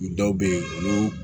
Dɔw bɛ yen olu